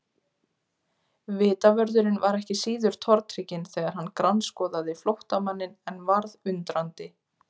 Vitavörðurinn var ekki síður tortrygginn þegar hann grannskoðaði flóttamanninn en varð undrandi.